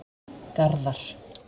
Garðar